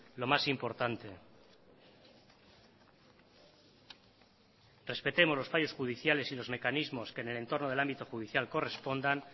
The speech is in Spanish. lo más importante respetemos los fallos judiciales y los mecanismos que en el entorno del ámbito judicial correspondan